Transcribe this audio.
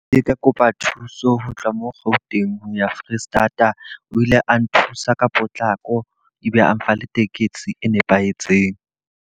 Ke ka kopa thuso ho tloha mo Gauteng ho ya Foreisetata. O ile a nthusa ka potlako e be a nfa le tekesi e nepahetseng.